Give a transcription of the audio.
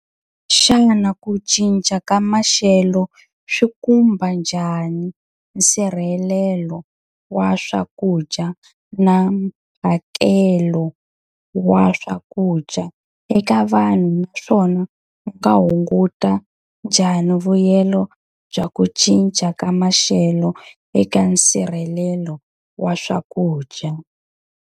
Xana ku cinca ka maxelo swi khumba njhani nsirhelelo wa swakudya na mphakelo wa swakudya eka vanhu? Naswona u nga hunguta njhani vuyelo bya ku cinca ka maxelo eka nsirhelelo wa swakudya?